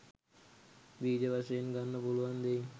බීජ වශයෙන් ගන්න පුළුවන් දෙයින්